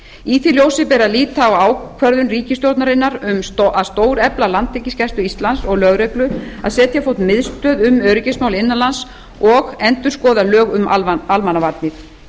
í því ljósi ber að líta á ákvörðun ríkisstjórnarinnar um að stórefla landhelgisgæslu íslands og lögreglu að setja á fót miðstöð um öryggismál innan lands og endurskoða lög um almannavarnir